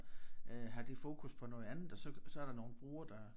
Øh har de fokus på noget andet og så så er der nogle brugere der